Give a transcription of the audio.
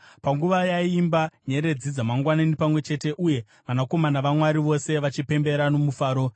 panguva yaiimba nyeredzi dzamangwanani pamwe chete, uye vanakomana vaMwari vose vachipembera nomufaro?